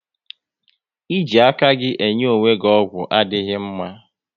Ị ji aka gị enye onwe gị ọgwụ adịghị mma